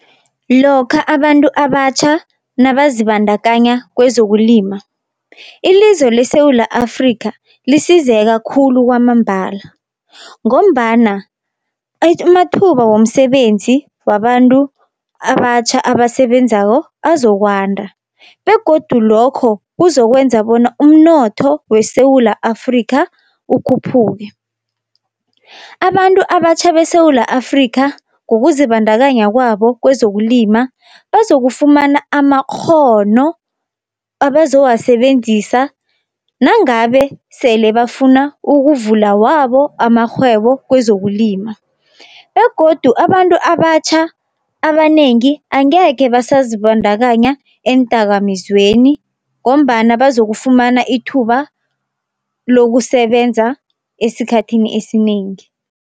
Lokha abantu abatjha nazibandakanya kwezokulima ilizwe leSewula Afrika lisizeka khulu kwamambala, ngombana amathuba womsebenzi wabantu abatjha abasebenzako azokwanda, begodu lokho kuzokwenza bona umnotho weSewula Afrika ukhuphuke. Abantu abatjha beSewula Afrika ngokuzibandakanya kwabo kwezokulima, bazokufumana amakghono abazowasebenzisa nangabe sele bafuna ukuvula wabo amarhwebo kwezokulima. Begodu abantu abatjha abanengi angekhe basazibandakanya eendakamizweni. ngombana bazokufumana ithuba lokusebenza esikhathini esinengi.